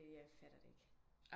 Jeg fatter det ikke